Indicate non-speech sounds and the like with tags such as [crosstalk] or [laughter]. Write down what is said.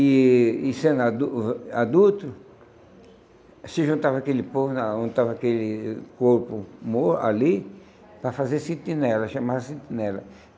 E e sendo [unintelligible] adulto, se juntava aquele povo na juntava aquele corpo mor ali para fazer sentinela, chamava-se sentinela.